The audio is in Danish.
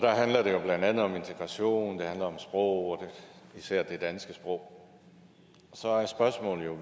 handler det jo blandt andet om integration det handler om sprog især det danske sprog så er spørgsmålet jo